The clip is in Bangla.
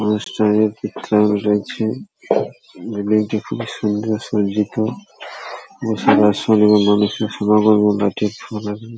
অনুষ্ঠানে রয়েছে বিল্ডিং টা খুবই সুন্দর সজ্জিত ।